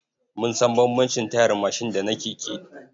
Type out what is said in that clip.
Mun san bambamcin tayar mashin da na keke.